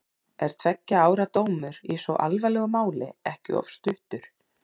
Er tveggja ára dómur í svo alvarlegu máli ekki of stuttur?